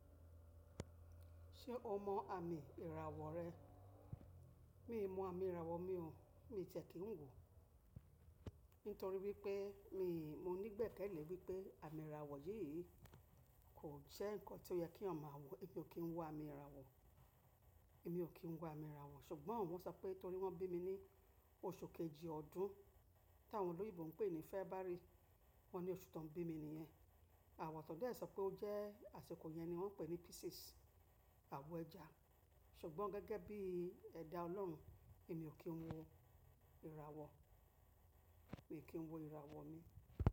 Ṣé o mọ àmì ìràwọ̀ rẹ? Mi ò mọ àmì ìràwọ̀ mi o, mi ò tiẹ́ kí n wò. Nítorí wípé mi, mo nígbẹ̀kẹ̀lé wípé àmì ìràwọ̀ yìí kò jẹ́ ǹnkan tí ó yẹ kí eeyán ma wọ̀, èmi ò kí ń wọ àmì ìràwọ̀, èmi ò kí ń wọ àmì ìràwọ̀. Ṣùgbọ́n wọ́n sọ pé torí wọ́n bí mi ní oṣù kejì ọdún, tí àwọn olóyinbo ń pè ní February. Wọ́n ní oṣù tó ń bí mi nìyẹn. Àwọn kan de sọ pé ó jẹ́ àsìkò yẹn ni wọ́n ń pè ní Pisces, àwọ̀ ẹja. Ṣùgbọ́n gẹ́gẹ́ bí ẹ̀dá Ọlọ́run, èmi ò kí ń wọ ìràwọ̀, mi ò kí ń wọ ìràwọ̀ mi.